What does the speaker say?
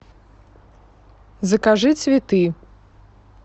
закажи цветы